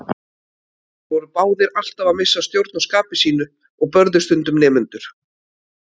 Þeir voru báðir alltaf að missa stjórn á skapi sínu og börðu stundum nemendur.